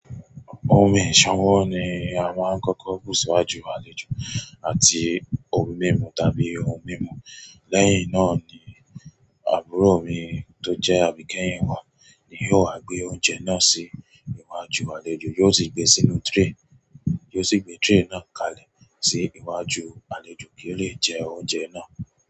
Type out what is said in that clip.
Omì ìsanwọ́ ni a máa kọ́kọ́ bú síwájú àlejò àti omí mimu tàbí ohun mímu. Lẹ́yìn náà ni àbúrò mi tó jẹ́ àbíkẹ́yìn wà ni yóò wa gbé oúnjẹ náà sí iwájú àlejò, yóò sì gbe sínú tray, yóò sì gbé tray náà kàlẹ̀ sí iwájú àlejò kí ó lè jẹ oúnjẹ náà.